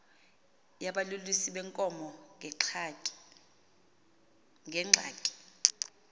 yabalusi beenkomo neengxaki